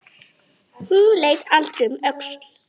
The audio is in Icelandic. Hún leit aldrei um öxl.